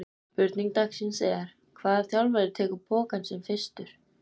Spurning dagsins er: Hvaða þjálfari tekur pokann sinn fyrstur?